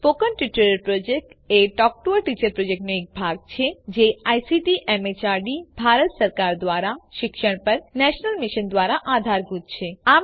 spoken tutorial project એ talk to a teacher પ્રોજેક્ટનો એક ભાગ છે જે આઇસીટી એમએચઆરડી ભારત સરકાર દ્વારા શિક્ષણ પર નેશનલ મિશન દ્વારા આધારભૂત છે